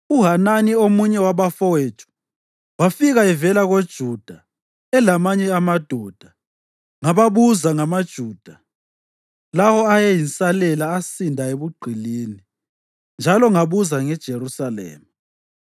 uHanani, omunye wabafowethu, wafika evela koJuda elamanye amadoda, ngababuza ngamaJuda lawo ayeyinsalela asinda ebugqilini, njalo ngabuza ngeJerusalema.